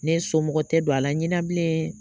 Ne somɔgɔ tɛ don a la ɲɛna bilen